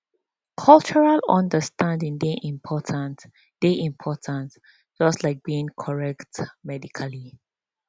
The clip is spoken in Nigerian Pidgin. cultural understanding dey important dey important just like being correct medically